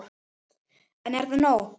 En er það nóg?